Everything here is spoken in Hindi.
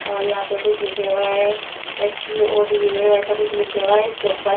और यहां पे कुछ लिखेवा है एस_के_ओ_डी_ए ऐसा कुछ लिखा हुआ इसके ऊपर--